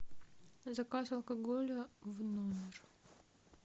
заказ алкоголя в номер